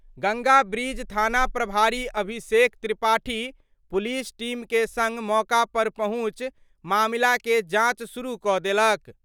Ganga bridge थाना प्रभारी Abhishek Tripathi police team के संग मौका पर पहुंचि मामला के जांच शुरू क' देलक।